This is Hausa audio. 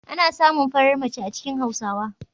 Ana samun farar mace a cikin Hausawa?